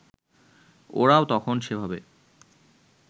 ওরাও তখন সেভাবে